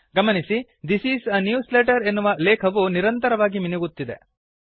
ಗಮನಿಸಿ this is a newsletter ಎನ್ನುವ ಲೇಖವು ನಿರಂತರವಾಗಿ ಮಿನುಗುತ್ತಿದೆ